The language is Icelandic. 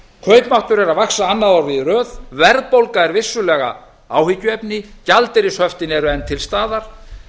kaupmáttur er að vaxta annað árið í röð verðbólga er vissulega áhyggjuefni gjaldeyrishöftin eru enn til staðar